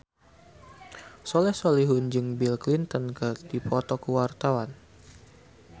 Soleh Solihun jeung Bill Clinton keur dipoto ku wartawan